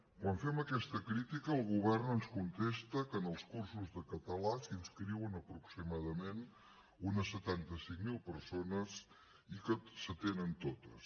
quan fem aquesta crítica el govern ens contesta que en els cursos de català s’inscriuen aproximadament unes setanta cinc mil persones i que s’atenen totes